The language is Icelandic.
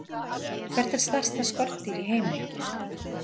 Hvert er stærsta skordýr í heimi?